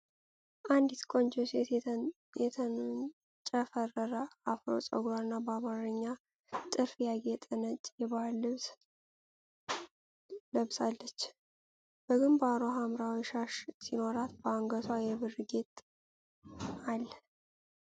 አንዲት ቆንጆ ሴት የተንጨፈረረ አፍሮ ፀጉርና በአማርኛ ጥልፍ ያጌጠ ነጭ የባህል ልብስ ለብሳለች። በግንባሯ ሐምራዊ ሻሽ ሲኖራት፣ በአንገቷ የብር ጌጥ ከለ።